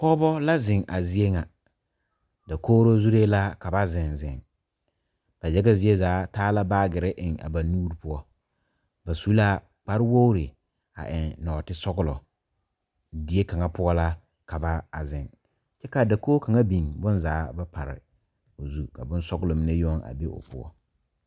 Pɔgebo la zeŋ a zie ŋa dakogri zure la ka ba zeŋ zeŋ ba yaga zie zaa taa la baagyere eŋ a ba nuure poɔ ba su la kpare wogre a eŋ nɔɔte sɔglɔ die kaŋa poɔ la ka ba a zeŋ kyɛ ka dakogi kaŋa biŋ bonzaa ba pare o zu ka bonsɔglɔ meŋ yoŋ a be o poɔ.